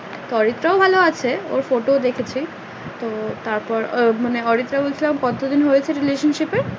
অরিত্রা ও ভালো আছে ওর ফটো ও দেখছি তো তারপর ও মানে অরিত্রা কত দিন হয়েছে relationship এ?